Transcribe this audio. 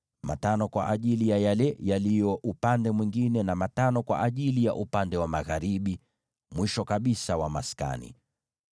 matano kwa ajili ya mihimili ya upande mwingine, na matano kwa ajili mihimili ya upande wa magharibi, mwisho kabisa mwa maskani.